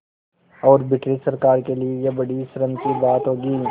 और ब्रिटिश सरकार के लिये यह बड़ी शर्म की बात होगी